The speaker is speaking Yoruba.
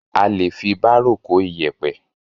A lè fi bárò kó iyẹ̀pẹ̀.